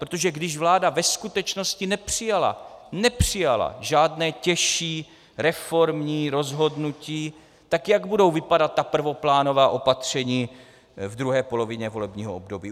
Protože když vláda ve skutečnosti nepřijala, nepřijala žádné těžší reformní rozhodnutí, tak jak budou vypadat ta prvoplánová opatření v druhé polovině volebního období?